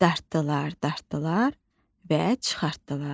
Dartdılar, dartdılar və çıxartdılar.